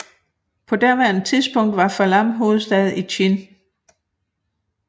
På daværende tidspunkt var Falam hovedstad i Chin